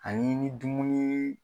Ani ni dumuni